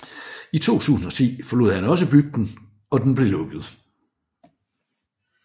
I 2010 forlod han også bygden og den blev lukket